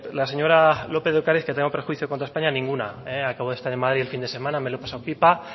la señora lópez de ocariz que tengo perjuicio contra españa ninguna acabo de estar en madrid el fin de semana me lo he pasado pipa